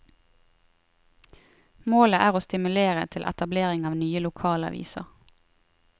Målet er å stimulere til etablering av nye lokalaviser.